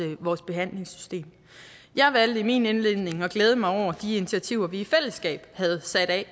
vores behandlingssystem jeg valgte i min indledning at glæde mig over de initiativer vi i fællesskab havde sat af